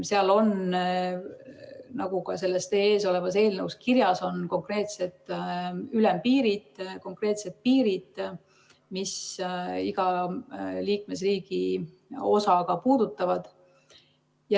Seal on, nagu ka selles teie ees olevas eelnõus kirjas on, konkreetsed ülempiirid, konkreetsed piirid, mis iga liikmesriigi osa puudutavad.